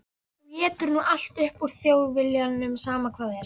Þú étur nú allt upp úr Þjóðviljanum, sama hvað er.